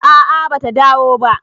a a bata dawo ba